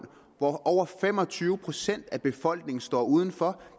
hvor over fem og tyve procent af befolkningen står udenfor